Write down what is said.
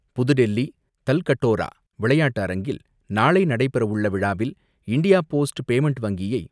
புதுடெல்லி தல்கட்டோரா விளையாட்டு அரங்கில் நாளை நடைபெறவுள்ள விழாவில் இண்டியா போஸ்ட் பேமெண்ட் வங்கியை பிரதமர் திரு. நரேந்திர மோடி